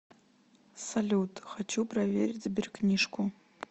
салют хочу проверить сберкнижку